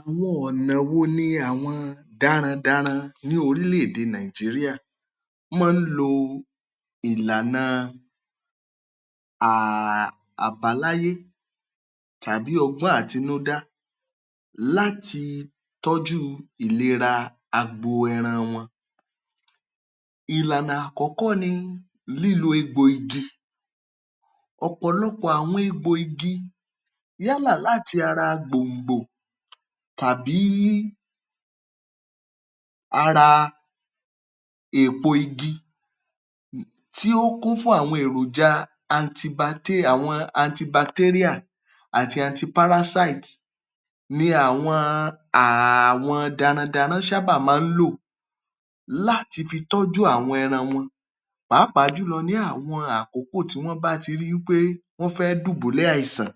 Àwọn ọ̀nà wo ni àwọn darandaran ní orílẹ̀ èdè Nàìjíríà máa ń lò ìlànà a a àbáláyé tàbí ọgbọ́n àtinúdá láti tọ́jú ìlera agbo ẹran wọn. Ìlànà àkọ́kọ́ ni lílo egbo igi. Ọ̀pọ̀lọpọ̀ àwọn egbo igi yálà láti ara gbòǹgbò tàbí ara èpo igi tí ó kún fún àwọn èròjà àwọn àti ni àwọn àwọn darandaran maá ṣábà máa ń lò láti fi tọ́jú àwọn ẹran wọn pàápàá jùlọ ní àwọn àkókò tí wọ́n bá ti ri í pé wọ́n fẹ́ dùbúlẹ̀ àìsàn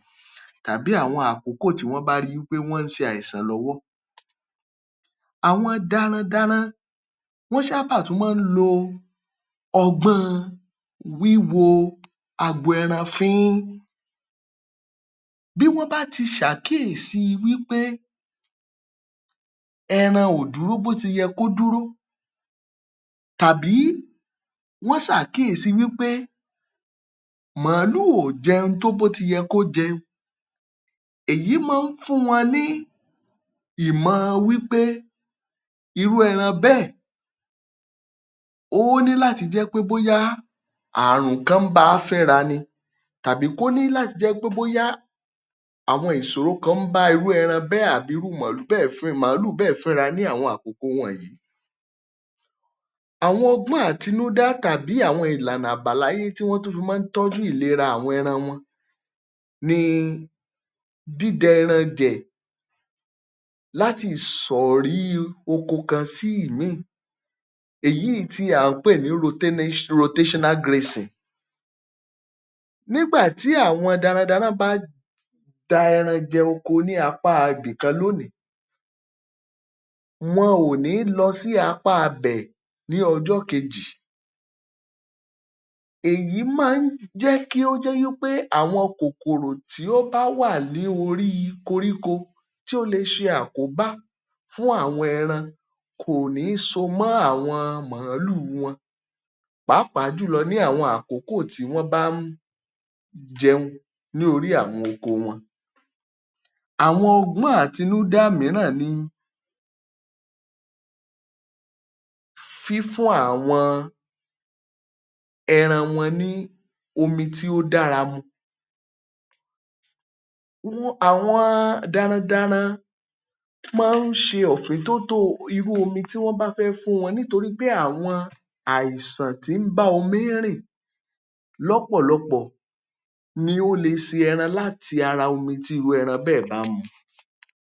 tàbí àwọn àkókò tó bá rí wípé wọ́n ń ṣe àìsàn lọ́wọ́. Àwọn darandaran, wọ́n ṣábà tún máa ń lo ọgbọ́n ọn wíwo agbo ẹran fín ín. Bí wọ́n bá ti ṣe àkíyèsí wí pé ẹran ò dúró bóti yẹ kó dúró tàbí wọ́n ṣe àkíyèsí wípé màálù ò jẹun tó bó ti yẹ kó jẹun, èyí maá fún wọn ní ìmọọ wípé irú ẹran bẹ́ẹ̀, ó ní láti jẹ́ pé bóyá àrùn kan ń bá a fẹ́ra ni tàbí kó ní láti jẹ́ pé bóyá àwọn ìṣòro kan ń bá irúu ẹran bẹ́ẹ̀ àbí irú màálù bẹ́ẹ̀ màálù bẹ́ẹ̀ fínra ní àwọn àkókò wọ̀nyí. Àwọn ọgbọ́n àtinúdá tàbí àwọn ìlàna àbáláyé tí wọ́n tún fi máa ń tọ́jú ìlera àwọn ẹran wọn ni dída ẹranjẹ̀ láti ìsọ̀rí oko kan sí ìmíì. Èyí tí à ń pè ní. Nígbà tí àwọn darandaran bá da ẹran jẹ ní apá a ibìkan lónìí, wọ́n ò ní lọ sí apá bẹ́ẹ̀ ní ọjọ́ kejì. Èyí máa ń jẹ́ kí ó jẹ́ wípé àwọn kòkòrò tí ó bá wà ní orí koríko tí ó lè ṣe àkóbá fún àwọn ẹran kò ní so mọ́ àwọn màálù wọn pàápàá jùlọ ní àwọn àkókò tí wọ́n bá ń jẹun ní orí àwọn oko wọn. Àwọn ọgbọ́n àtinúdá mìíràn ni fífún àwọn ẹran wọn ní omi tí ó dára mu, wọn àwọn darandaran máa ń ṣe ọ̀fintótó irú omi tí wọ́n bá fẹ́ fún wọn nítorípé àwọn àìsàn tí í bá omi rìn lọ́pọ̀lọpọ̀ ni ó lè ṣe ẹran láti ara omi tí irú ẹran bẹ́ẹ̀ bá mu.